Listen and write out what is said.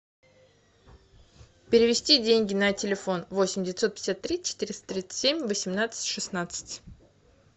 перевести деньги на телефон восемь девятьсот пятьдесят три четыреста тридцать семь восемнадцать шестнадцать